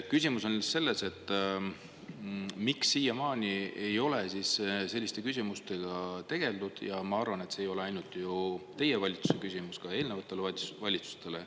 Küsimus on nüüd selles, et miks siiamaani ei ole selliste küsimustega tegeldud, ja ma arvan, et see ei ole ainult ju teie valitsuse küsimus; ka eelnevatele valitsustele.